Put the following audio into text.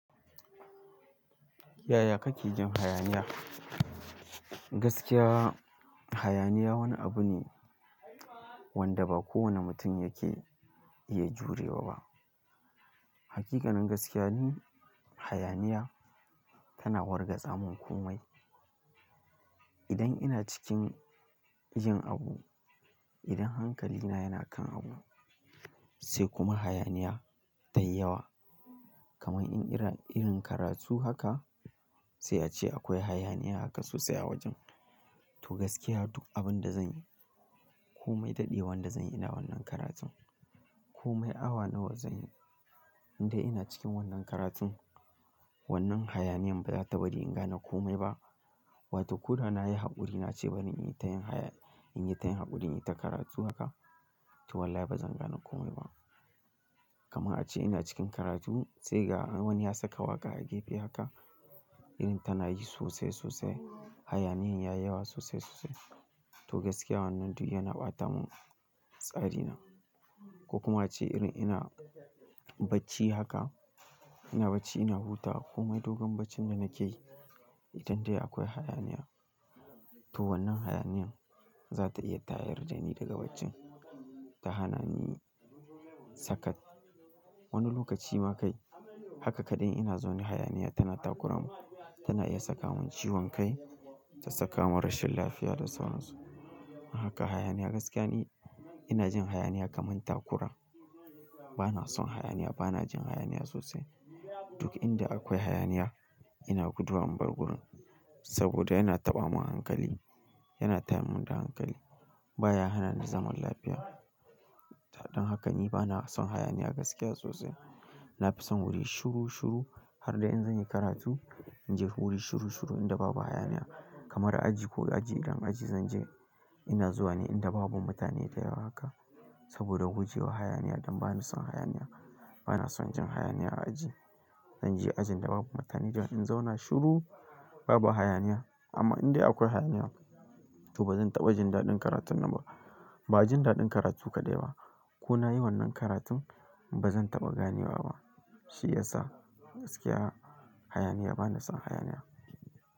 Yaya kake jin hayaniya? Gaskiya hayaniya wani abu ne wanda ba kowane mutum yake iya jurewa ba. Hakikanin gaskiya ni, hayaniya tana wargaza mun komai. Idan ina cikin jin abu, idan hankalina yana kan abu sai kuma hayaniya tayi yawa. Kaman in ina karatu haka sai ace akwai hayaniya haka sosai a wajen, to gaskiya duk abin da zanyi, komai daɗewa da zan yi ina wannan karatun, komai awa nawa zan yi, in dai ina cikin wannan karatun wannan hayaniyan ba za ta bari in gane komai ba. Wato ko da na yi haƙuri, na ce bari in yi ta yin haƙuri, in yi ta karatu haka to wallahi ba zan gane komai ba. Kaman ace ina cikin karatu sai ga wani ya saka waƙa a gefe haka, irin ta nayi sosai, sosai. Hayaniyan ya yi yawa sosai, sosai. To gaskiya wannan duk yana ɓata mun tsarina. Ko kuma ace irin ina bacci haka, ina bacci ina hutawa komai dogon baccin da nake yi, idan dai akwai hayaniya, to wannan hayaniyan za ta iya tayar da ni daga wajen, ta hana ni saka. Wani lokaci ma kai haka kaɗai ina zaune hayaniya tana takura mun, tana iya saka mun ciwon kai, ta saka mun rashin lafiya da sauran su. Don haka hayaniya gaskiya ni ina jin hayaniya kaman takura. Bana son hayaniya, bana jin hayaniya sosai. Duk inda akwai hayaniya ina guduwa in bar gurin saboda yana taɓa mun hankali, yana tayar mun da hankali. Ba ya hana ni zaman lafiya. Don haka ni bana son hayaniya gaskiya sosai. Na fi son wurin shuru shuru har dai in zanyi karatu, in ji wurin shuru shuru inda babu hayaniya. Kamar aji ko aji idan aji zan je ina zuwa ne inda babu mutane da yawa haka saboda gujewa hayaniya don bana son hayaniya. Bana son jin hayaniya a aji. Zan je ajin da babu mutane don in zauna shuru babu hayaniya. Amma in dai akwai hayaniya, to ba zan taɓa jin daɗin karatun nan ba. Ba jin daɗin karatu kaɗai ba ko na yi wannan karatun ba zan taɓa gane wa ba shi yasa gaskiya hayaniya bana son hayaniya.